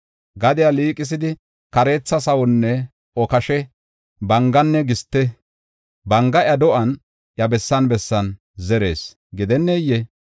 Gadiya liiqisidi, kareetha sawanne okashe, banganne giste, banga iya do7uwan, iya bessan bessan zerees gidennee?